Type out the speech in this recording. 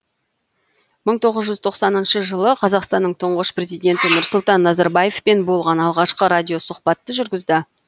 мың тоғыз жүз тоқсаныншы жылы қазақстанның тұңғыш президенті нұрсұлтан назарбаевпен болған алғашқы радиосұхбатты жүргізді